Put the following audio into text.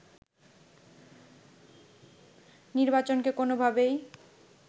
নির্বাচনকে কোনোভাবেই